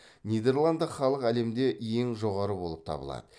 нидерланды халық әлемде ең жоғары болып табылады